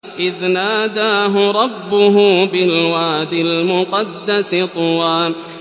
إِذْ نَادَاهُ رَبُّهُ بِالْوَادِ الْمُقَدَّسِ طُوًى